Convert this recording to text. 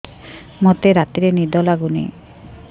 ମୋତେ ରାତିରେ ନିଦ ଲାଗୁନି